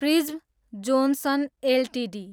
prism Johnson Ltd